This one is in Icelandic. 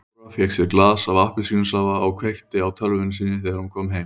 Dóra fékk sér glas af appelsínusafa og kveikti á tölvunni sinni þegar hún kom heim.